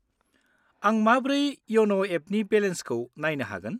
आं माब्रै इयन' एपनि बेलेन्सखौ नायनो हागोन?